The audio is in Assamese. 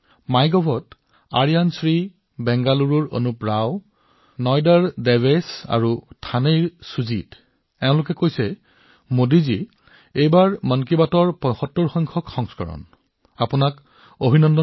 মাই গভত আৰিয়ান শ্ৰী বেংগালুৰুৰ পৰা অনুপ ৰাও নয়ডাৰ দেৱেশ থানেৰ সুজিত তেওঁলোক সকলোৱে কৈছে মোডীজী এইবাৰ মন কী বাতৰ ৭৫ তম খণ্ড উপলক্ষে আপোনালৈ অভিনন্দন